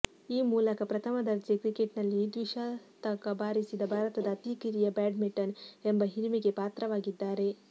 ಈ ಮೂಲಕ ಪ್ರಥಮ ದರ್ಜೆ ಕ್ರಿಕೆಟ್ನಲ್ಲಿ ದ್ವಿಶತಕ ಬಾರಿಸಿದ ಭಾರತದ ಅತಿ ಕಿರಿಯ ಬ್ಯಾಟ್ಸ್ಮನ್ ಎಂಬ ಹಿರಿಮೆಗೆ ಪಾತ್ರವಾಗಿದ್ದಾರೆ